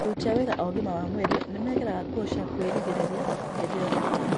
Aruti a wĩra a ũgima wa mwĩrĩ nĩmekĩraga nguo cia kwĩrigĩrĩria hĩndĩ ya ũrigitani